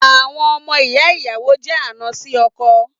Àwọn ọmọ ìyá ìyàwó jé àna sì ọkọ